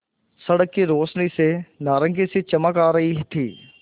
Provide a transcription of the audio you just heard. सड़क की रोशनी से नारंगी सी चमक आ रही थी